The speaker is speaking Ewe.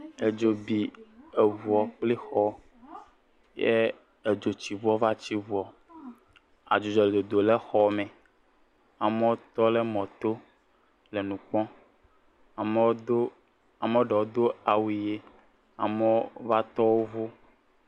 Edzo bi eŋu kpl xɔ ye edzotsiŋu va tsi dzoa, Adzudzɔ le dodom le xɔa me amewo tɔ ɖe mɔ to le nu kpɔm, ame aɖewo do awuʋi ame aɖewo va tɔ wo ƒe ŋu.